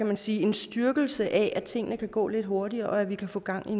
man sige styrkelse af at tingene kan gå lidt hurtigere og at vi kan få gang i